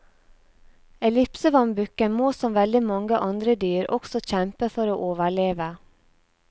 Ellipsevannbukken må som veldig mange andre dyr også kjempe for å overleve.